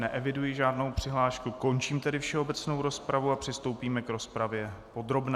Neeviduji žádnou přihlášku, končím tedy všeobecnou rozpravu a přistoupíme k rozpravě podrobné.